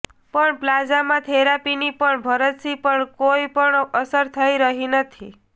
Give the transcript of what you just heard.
પણ પ્લાઝમા થેરાપીની પણ ભરતસિંહ પણ કોઈ અસર થઈ રહી નથી